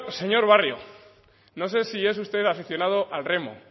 señor barrio no sé si es usted aficionado al remo